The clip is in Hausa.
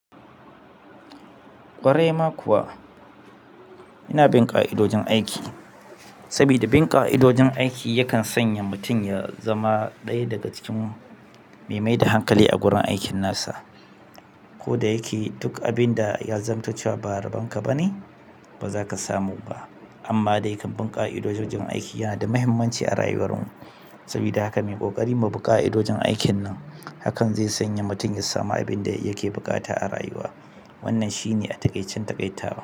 Ƙwarai ma kuwa, ina bin ƙa'idojin aiki. Saboda bin ƙa'idojin aiki yakan sanya mutum ya zama ɗaya daga cikin mai mai da hankali a gurin aikin nasa. Ko da yake duk abin da ya zamanto cewa ba a rabon ka bane, ba za ka samu ba. Amma dai kam bin ƙa'idojin aiki yana da mahimmanci a rayuwar mu. Saboda haka mu yi ƙoƙari mai bu ƙa'idojin aikin nan, hakan zai sanya mutum ya samu abin da yake buƙata a rayuwa. Wannan shi ne a taƙaicen taƙaitawa.